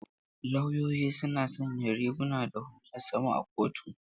Lauyoyi suna sanya riguna da hular suma a kotu.